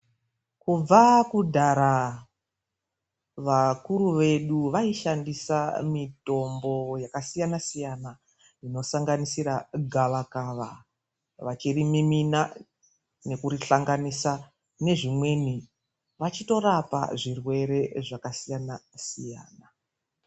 Kubva kudhara vakuru vedu vayishandisa mitombo yakasiyana-siyana inosanganisira gavakava vachirimimina nokuhlanganisa nezvimweni. Vachitorapa zvitenda zvakasiyana-siyana.